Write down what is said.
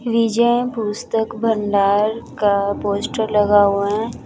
विजय पुस्तक भंडार का पोस्टर लगा हुआ है।